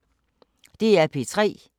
DR P3